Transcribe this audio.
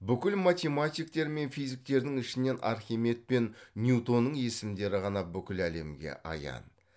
бүкіл математиктер мен физиктердің ішінен архимед пен ньютонның есімдері ғана бүкіл әлемге аян